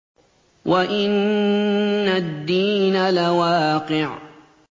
وَإِنَّ الدِّينَ لَوَاقِعٌ